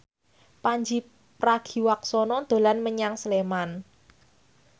Pandji Pragiwaksono dolan menyang Sleman